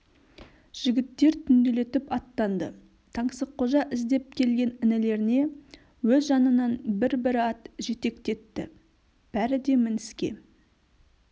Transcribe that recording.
жігіттер түнделетіп аттанды таңсыққожа іздеп келген інілеріне өз жанынан бір бір ат жетектетті бәрі де мініске